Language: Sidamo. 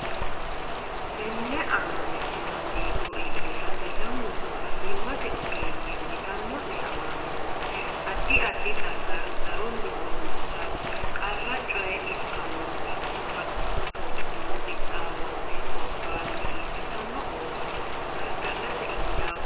Tenne amaale’neno jeefo iillishate lamunku fayyimmate ogeeyye uyitanno’ne malanna addi addi xagga garunni horonsi’ra qara coye ikkinohura hasatto’nenna qixxaawo’ne gobbaanni ilantanno ooso gargadhate injaawa hayyooti.